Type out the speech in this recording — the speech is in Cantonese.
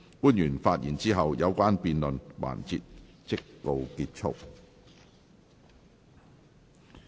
官員發言後，有關的辯論環節即告結束。